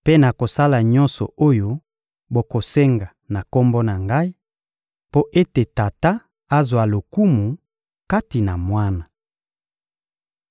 Mpe nakosala nyonso oyo bokosenga na Kombo na Ngai, mpo ete Tata azwa lokumu kati na Mwana.